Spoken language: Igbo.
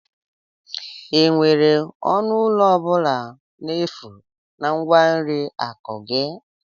Enwere ọnụ ụlọ ọ bụla n'efu na nkwari akụ gị?